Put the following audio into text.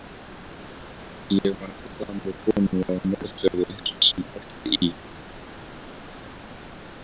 Ég man eftir gamalli konu á Norðfirði sem orti í